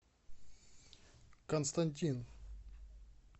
константин